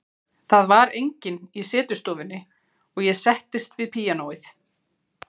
Það var enginn í setustofunni og ég settist við píanóið.